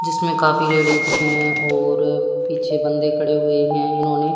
जिसमें काफी लड़की हैं और पीछे बंदे खड़े हुए हैं इन्होंने--